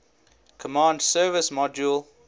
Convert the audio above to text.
command service module